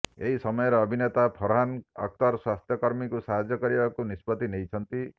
ଏହି ସମୟରେ ଅଭିନେତା ଫରହାନ ଅଖତର ସ୍ୱାସ୍ଥ୍ୟ କର୍ମୀଙ୍କୁ ସାହାଯ୍ୟ କରିବାକୁ ନିଷ୍ପତ୍ତି ନେଇଛନ୍ତି